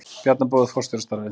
Bjarna boðið forstjórastarfið